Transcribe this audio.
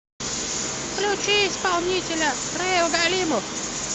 включи исполнителя раил галимов